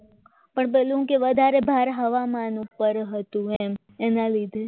પણ પેલો શું કે વધારે વાર હવામાન ઉપર હતું એમ એના લીધે